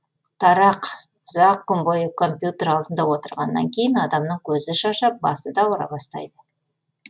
тарақ ұзақ күн бойы компьютер алдында отырғаннан кейін адамның көзі шаршап басы да ауыра бастайды